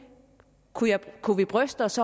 kunne kunne vi bryste os